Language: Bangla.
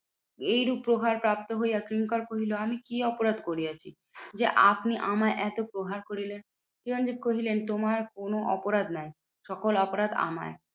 এইরূপ প্রহার প্রাপ্ত হইয়া কিঙ্কর কহিলো, আমি কি অপরাধ করিয়াছি? যে আপনি আমায় এত প্রহার করিলেন। চিরঞ্জিত কহিলেন তোমার কোনো অপরাধ নয়, সকল অপরাধ আমার।